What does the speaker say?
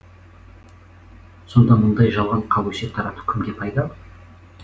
сонда мұндай жалған қауесет тарату кімге пайдалы